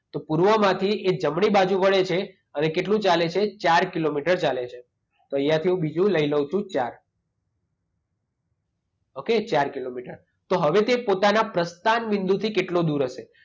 તો પૂર્વમાંથી એ જમણી બાજુ વળે છે અને કેટલું ચાલે છે? ચાર કિલોમીટર ચાલે છે. તો અહિયાંથી હું બીજું લઈ લેવ છું ચાર. ઓકે? ચાર કિલોમીટર. તો હવે તે પોતાના પ્રસ્થાન બિંદુથી કેટલો દૂર હશે?